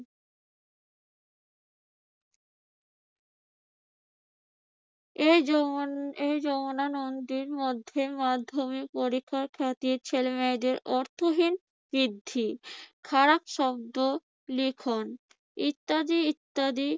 এই যমুন~ এই যমুনা নদীর মধ্যে মাধ্যমিক পরীক্ষার খ্যাতির ছেলেমেয়েদের অর্থহীন বৃদ্ধি খারাপ শব্দ লিখন ইত্যাদি ইত্যাদি।